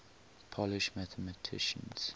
polish mathematicians